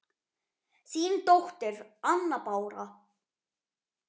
Þín dóttir, Anna Bára.